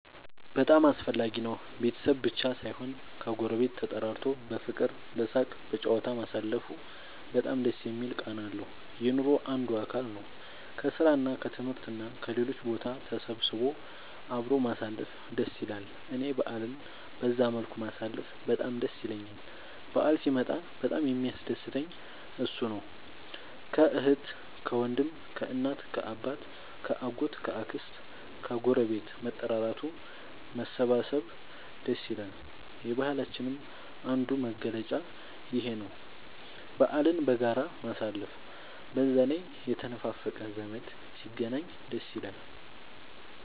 በጣም አስፈላጊ ነው ቤተሰብ ብቻ ሳይሆን ከ ጎረቤት ተጠራርቶ በፍቅር በሳቅ በጨዋታ ማሳለፉ በጣም ደስ የሚል ቃና አለው። የኑሮ አንዱ አካል ነው። ከስራ እና ከትምህርት እና ከሌሎችም ቦታ ተሰብስቦ አብሮ ማሳለፍ ደስ ይላል እኔ በአልን በዛ መልኩ ማሳለፍ በጣም ደስ ይለኛል በአል ሲመጣ በጣም የሚያስደስተኝ እሱ ነው። ከአህት ከወንድም ከእናት ከአባት ከ አጎት ከ አክስት ከግረቤት መጠራራቱ መሰባሰብ ደስ ይላል። የባህላችንም አንዱ መገለጫ ይኽ ነው በአልን በጋራ ማሳለፍ። በዛ ላይ የተነፋፈቀ ዘመድ ሲገናኝ ደስ ይላል